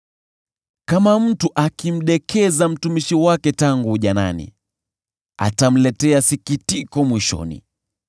Kama mtu akimdekeza mtumishi wake tangu ujanani, atamletea sikitiko mwishoni.